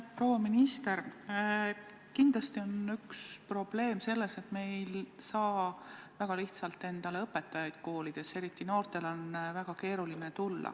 Proua minister, kindlasti on üks probleem selles, et me ei saa väga lihtsalt koolidesse õpetajaid leida, eriti just noorte puhul on see väga keeruline.